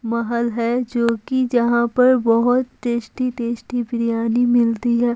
महल है जो कि जहां पर बहुत टेस्टी टेस्टी बिरयानी मिलती हैं।